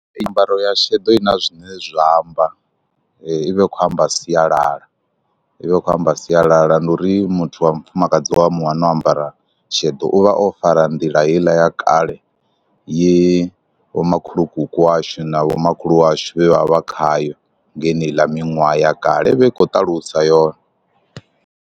Nyambaro ya shedo i na zwine zwa amba, i vha i khou amba sialala, i vha i khou amba sialala. Ndi uri muthu wa mufumakadzi wa mu wana o ambara sheḓo u vha o fara nḓila heiḽa ya kale, ye vho makhulukuku washu na vhomakhulu washu vhe vha vha khayo nge heneiḽa miṅwaha ya kale, i vha i khou ṱalusa yone.